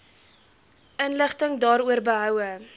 inligting daaroor behoue